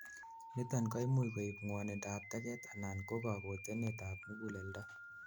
niton koimuch koib ngwonindap teget anan ko kakotenet ab muguleldo